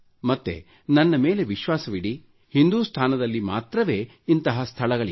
ಮತ್ತೆ ನನ್ನ ಮೇಲೆ ವಿಶ್ವಾಸವಿಡಿ ಹಿಂದುಸ್ತಾನದಲ್ಲಿ ಮಾತ್ರವೇ ಇಂತಹ ಸ್ಥಳಗಳಿವೆ